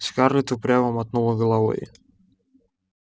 скарлетт упрямо мотнула головой